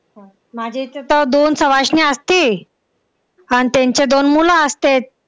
माझ्या इथं का दोन सवाष्ण्या असती. अन त्यांचे दोन मुलं असतेत.